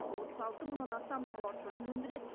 отыз алты мыңнан астам тауар түрін өндіреді